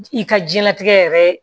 I ka jiyɛn latigɛ yɛrɛ